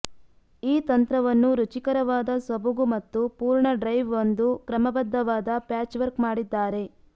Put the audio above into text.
ಈ ತಂತ್ರವನ್ನು ರುಚಿಕರವಾದ ಸೊಬಗು ಮತ್ತು ಪೂರ್ಣ ಡ್ರೈವ್ ಒಂದು ಕ್ರಮಬದ್ಧವಾದ ಪ್ಯಾಚ್ವರ್ಕ್ ಮಾಡಿದ್ದಾರೆ